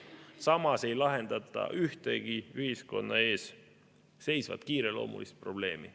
Samas ei lahendata ühtegi ühiskonna ees seisvat kiireloomulist probleemi.